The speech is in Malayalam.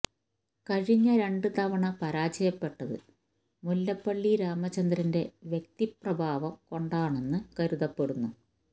കഴിഞ്ഞ രണ്ട് തവണ പരാജയപ്പെട്ടത് മുല്ലപ്പള്ളി രാമചന്ദ്രന്റെ വ്യക്തി പ്രഭാവം കൊണ്ടാണെന്ന് കരുതപ്പെടുന്നു